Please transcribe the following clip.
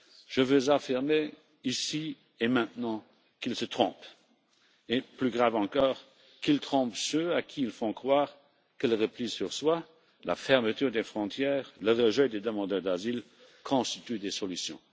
Je veux affirmer, ici et maintenant, qu'ils se trompent et, plus grave encore, qu'ils trompent ceux à qui ils font croire que le repli sur soi, la fermeture des frontières, le rejet des demandeurs d'asile constituent des solutions.